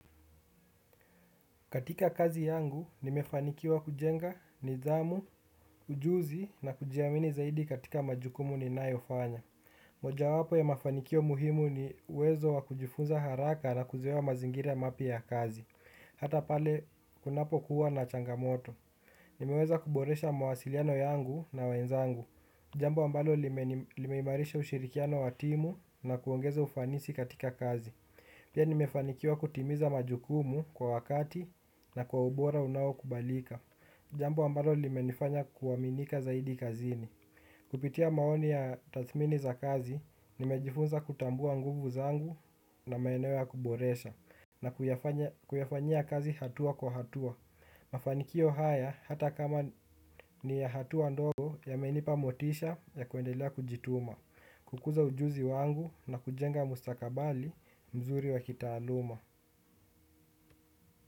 Katika kazi yangu, nimefanikiwa kujenga nidhamu, ujuzi na kujiamini zaidi katika majukumu ninayofanya. Mojawapo ya mafanikio muhimu ni uwezo wa kujifunza haraka na kuzoea mazingira mapya ya kazi. Hata pale kunapokuwa na changamoto. Nimeweza kuboresha mawasiliano yangu na wenzangu. Jambo ambalo limeimarisha ushirikiano wa timu na kuongeza ufanisi katika kazi. Pia nimefanikiwa kutimiza majukumu kwa wakati na kwa ubora unaokubalika. Jambo ambalo limenifanya kuaminika zaidi kazini. Kupitia maoni ya tathmini za kazi, nimejifunza kutambua nguvu zangu na maeneo ya kuboresha na kuyafanyia kazi hatua kwa hatua. Mafanikio haya hata kama ni ya hatua ndogo yamenipa motisha ya kuendelea kujituma. Kukuza ujuzi wangu na kujenga mustakabali mzuri wa kitaaluma.